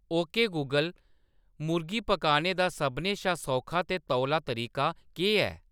okay Google मुर्गी पकाने दा सभनें शा सौखा ते तौला तरीका केह्‌‌ ऐ